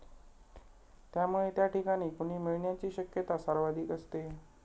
त्यामुळे त्या ठिकाणी कुणी मिळण्याची शक्यता सर्वाधिक असते.